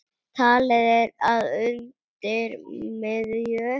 Talið er að undir miðju